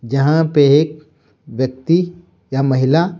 जहां पे एक व्यक्ति या महिला--